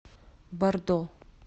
бордо